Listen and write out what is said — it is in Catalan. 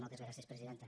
moltes gràcies presidenta